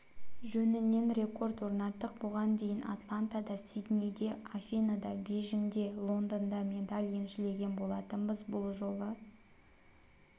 жөнінен рекорд орнаттық бұған дейін атлантада сиднейде афиныда бейжіңде лондонда медаль еншілеген болатынбыз бұл жолы